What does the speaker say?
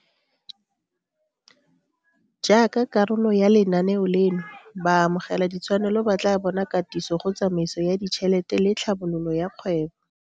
Jaaka karolo ya lenaneo leno, baamogeladitshwanelo ba tla bona katiso go tsamaiso ya ditšhelete le tlhabololo ya kgwebo.